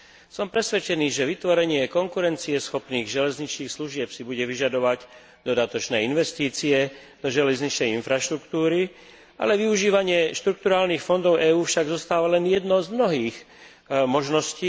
Som presvedčený, že vytvorenie konkurencieschopných železničných služieb si bude vyžadovať dodatočné investície do železničnej infraštruktúry, pričom však využívanie štrukturálnych fondov EÚ zostáva len jednou z mnohých možností.